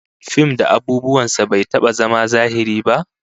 Fim da abubuwan sa bai taba zama zahiri ba